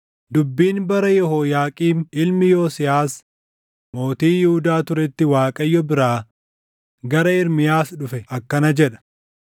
Dubbiin bara Yehooyaaqiim ilmi Yosiyaas mootii Yihuudaa turetti Waaqayyo biraa gara Ermiyaas dhufe akkana jedha: